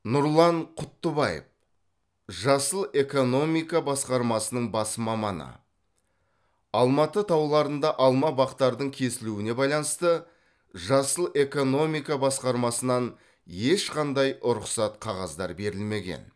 нұрлан құттыбаев жасыл экономика басқармасының бас маманы алматы тауларында алма бақтардың кесілуіне байланысты жасыл экономика басқармасынан ешқандай рұқсат қағаздар берілмеген